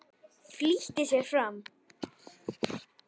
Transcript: Flýtti sér fram.